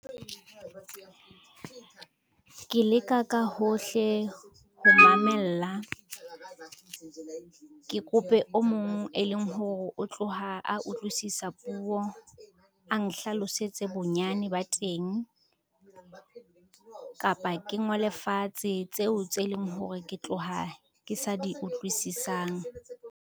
Ke leka ka hohle ho mamella. Ke kope o mong e leng hore o tloha a utlwisisa puo a nhlalosetse bonyane ba teng, kapa ke ngole fatshe tseo tse leng hore ke tloha ke sa di utlwisisang.